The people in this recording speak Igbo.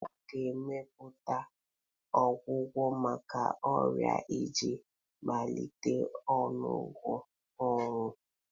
A ga-emepụta ọgwụgwọ maka ọrịa iji belata ọnụọgụ ọnwụ.